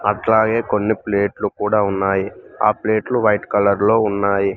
అట్లాగే కొన్ని ప్లేట్లు కూడా ఉన్నాయి ఆ ప్లేట్లు వైట్ కలర్ లో ఉన్నాయి.